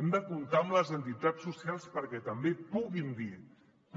hem de comptar amb les entitats socials perquè també puguin